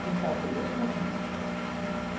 Christopher Jespersen